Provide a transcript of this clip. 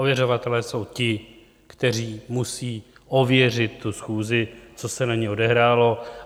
Ověřovatelé jsou ti, kteří musejí ověřit tu schůzi, co se na ní odehrálo.